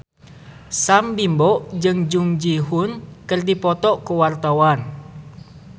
Sam Bimbo jeung Jung Ji Hoon keur dipoto ku wartawan